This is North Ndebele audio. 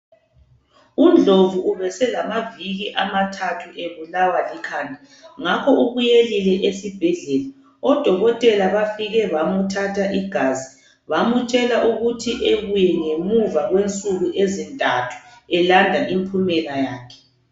UNdlovu ubeselamaviki amathathu ebulawa likhanda ngakho ubuyelile esibhedlela odokotela bafike bamthatha igazi bamtshela ukuthi ebuye ngemva kwensuku ezintathu elanda impumela yakhe